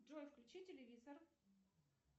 джой включи телевизор